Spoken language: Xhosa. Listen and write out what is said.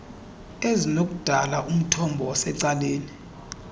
ezinokudala umthombo osecaleni